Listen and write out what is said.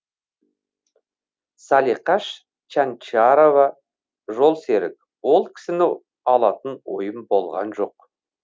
салиқаш чянчарова жолсерік ол кісіні алатын ойым болған жоқ